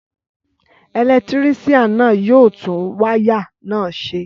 Ẹlẹtírísíàn náà yóò tún wáyà náà ṣe